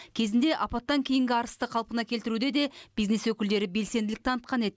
кезінде апаттан кейінгі арысты қалпына келтіруде де бизнес өкілдері белсенділік танытқан еді